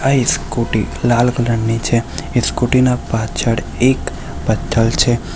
આ એ સ્કુટી લાલ કલરની છે એ સ્કુટીના પાછળ એક પથ્થર છે.